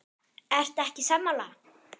Ertu ekki sammála?